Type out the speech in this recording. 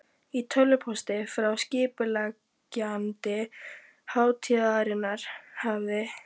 Í tölvupósti frá skipuleggjanda hátíðarinnar hafði